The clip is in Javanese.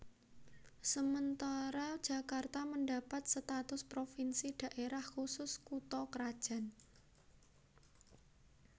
Sementara Jakarta mendapat status provinsi Daerah Khusus Kutha krajan